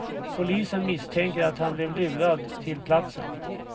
Polisen misstänker att han blev lurad till platsen.